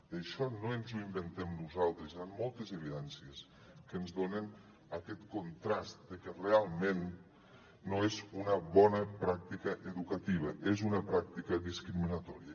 i això no ens ho inventem nosaltres hi han moltes evidències que ens donen aquest contrast de que realment no és una bona pràctica educativa és una pràctica discriminatòria